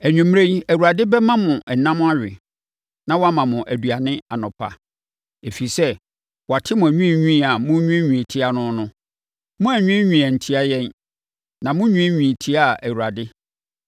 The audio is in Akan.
Anwummerɛ yi, Awurade bɛma mo ɛnam awe, na wama mo aduane anɔpa. Ɛfiri sɛ, wate mo anwiinwii a monwiinwii tia no no. Moannwiinwii antia yɛn, na monwiinwii tiaa Awurade.”